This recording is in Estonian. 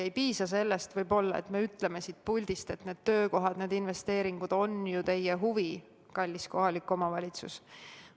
Ei piisa sellest, et me ütleme siit puldist, et need töökohad, need investeeringud on ju teie huvi, kallis kohalik omavalitsus.